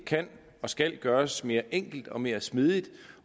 kan og skal gøres mere enkelt og mere smidigt